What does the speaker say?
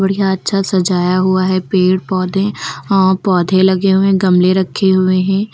बढ़िया अच्छा सजाया हुआ है पेड़-पौधे और पौधे लगे हुए हैं गमले रखे हुए हैं।